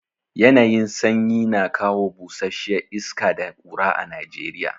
Yanayin sanyi na kawo busasshiya iska da ƙura a Najeriya.